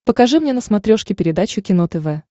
покажи мне на смотрешке передачу кино тв